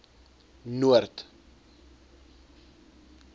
noord